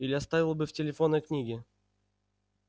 или оставил бы в телефонной книге